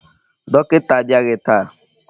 Dọkịta abịaghị taa.